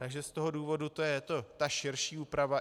Takže z toho důvodu to je ta širší úprava.